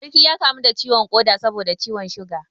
Sarki ya kamu da ciwon koda saboda ciwon suga